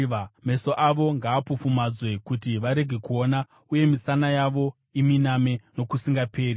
Meso avo ngaapofumadzwe kuti varege kuona, uye misana yavo iminame nokusingaperi.